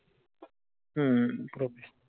हम्म